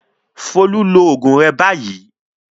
Folú lo oògùn rẹ báyìí!